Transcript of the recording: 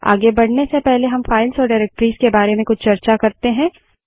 आगे बढ़ने से पहले हम फाइल्स और डाइरेक्टरीज़ के बारे में कुछ चर्चा करते हैं